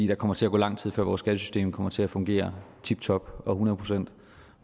der kommer til at gå lang tid før vores skattesystem kommer til at fungere tiptop og hundrede procent